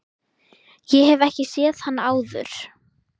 Ég hef ekki séð hann áður.